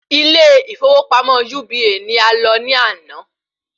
Ilé ìfọwọ́pamọ́ UBA ni a lọ ní ana